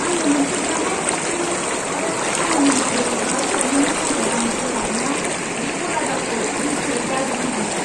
आंनो मोनसे गाहाय थाखोनि आरो खामानि मावै बाल्ब हरनायनि थाखाय आं बोराबना बे गलादारखौ गोसायै दाद्रि होदोंमोन।